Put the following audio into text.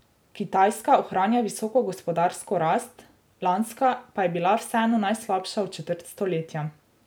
Kitajska ohranja visoko gospodarsko rast, lanska pa je bila vseeno najslabša v četrt stoletja.